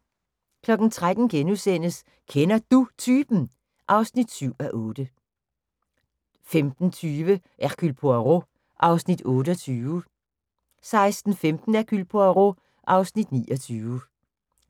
13:00: Kender Du Typen? (7:8)* 15:20: Hercule Poirot (Afs. 28) 16:15: Hercule Poirot (Afs. 29)